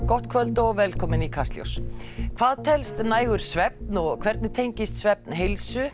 gott kvöld og velkomin í Kastljós hvað telst nægur svefn hvernig tengist svefn heilsu